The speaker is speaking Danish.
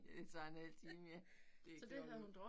Det tager en halv time ja. Det ikke til at holde ud